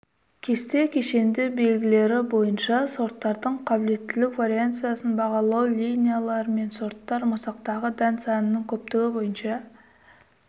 кесте кешенді белгілері бойынша сорттардың қабілеттілік вариансасын бағалау линииялар мен сорттар масақтағы дән санының көптігі бойынша